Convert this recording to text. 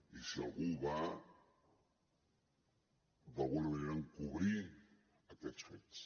i si algú va d’alguna manera encobrir aquests fets